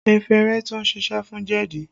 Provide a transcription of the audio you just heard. Efinrin tún siṣẹ́ fún jẹ̀dí